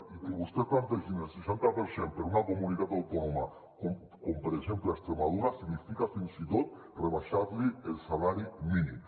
i que vostès plantegin el seixanta per cent per a una comunitat autònoma com per exemple extremadura significa fins i tot rebaixar li el salari mínim